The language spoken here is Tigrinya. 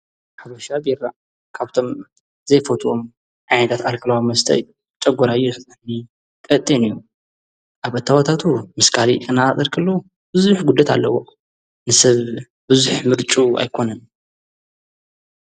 ኅብሻ ዲራ ካብቶም ዘይፈትዎም ዓዕዳት ኣልክልዋ መስተይ ጨጐራዮ ሰተኒ ቐጤን እዩ ኣብ ኣታወታቱ ምስ ካሊ እናኣጽርክሉ ብዙኅ ጕደት ኣለዎ ንስብ ብዙኅ ምርጡ ኣይኮንን